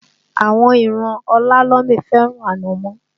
Àwọn ìran Ọlálọmí fẹ́ràn Ànàmọ́